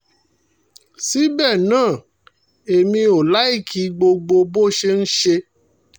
síbẹ̀ náà èmi ò láìkí gbogbo bó ṣe ń ṣe